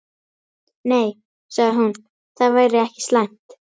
Nei, sagði hún, það væri ekki slæmt.